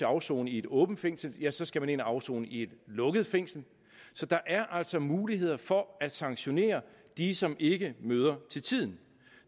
afsone i et åbent fængsel ja så skal man ind og afsone i et lukket fængsel så der er altså muligheder for at sanktionere de som ikke møder til tiden